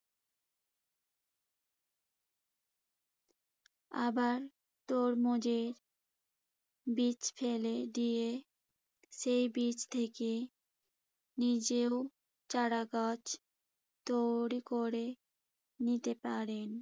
আবার তরমুজের বীজ ফেলে দিয়ে সেই বীজ থেকে নিজেরও চারাগাছ তৈরি করে নিতে পারেন।